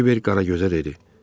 Kiber Qaragözə dedi: